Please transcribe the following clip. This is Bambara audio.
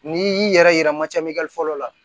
N'i y'i yɛrɛ yira fɔlɔ la